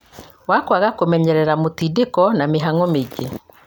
wa kwaga kũmenyerera, mũtindĩko, na mĩhang'o mĩingĩ